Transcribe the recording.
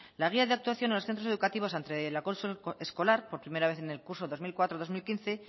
la guía de actuación en los centros educativos ante el acoso escolar por primera vez en el curso dos mil cuatro dos mil quince